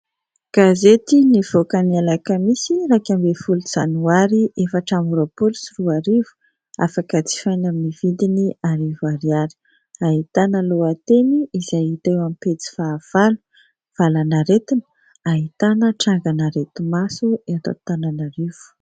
Gazety nivoaka ny alakamisy, iraika ambin'ny folo janoary, efatra amby roapolo sy roa arivo, afaka jifaina amin'ny vidiny arivo ariary. Ahitana lohateny izay hita eo amin'ny pejy fahavalo : "valanaretina ahitana trangana areti-maso eto Antananarivo".